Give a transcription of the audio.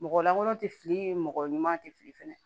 Mɔgɔ lankolon tɛ fili ye mɔgɔ ɲuman tɛ fili fɛnɛ